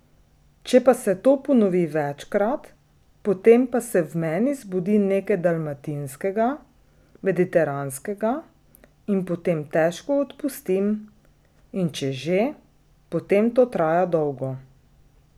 Če pa se to ponovi večkrat, potem pa se v meni zbudi nekaj dalmatinskega, mediteranskega, in potem težko odpustim, in če že, potem to traja dolgo.